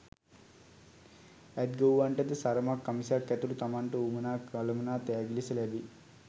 ඇත් ගොව්වන්ටද සරමක් කමිසයක් ඇතුළු තමන්ට වුවමනා කළමනා තෑගි ලෙස ලැබෙයි.